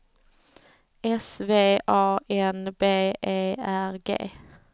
S V A N B E R G